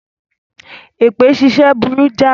Èpè ṣíṣẹ́ burú jáì.